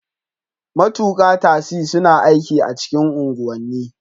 Matukin tasi suna aikin a cikin unguwanni